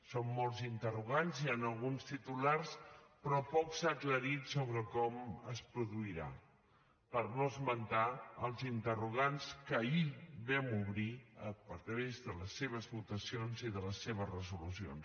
són molts interrogants hi han alguns titulars però poc s’ha aclarit sobre com es produirà per no esmentar els interrogants que ahir vam obrir a través de les seves votacions i de les seves resolucions